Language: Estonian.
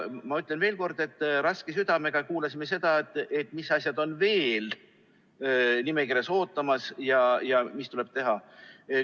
Ma ütlen veel kord, et raske südamega kuulasime seda, mis asjad on veel nimekirjas ootamas ja mis tuleb teha.